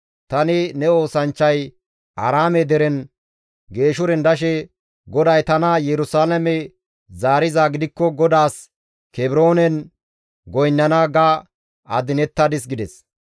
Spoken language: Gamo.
Tani ne oosanchchay Aaraame deren Geeshuren dashe, ‹GODAY tana Yerusalaame zaarizaa gidikko GODAAS Kebroonen goynnana› ga adinettadis» gides.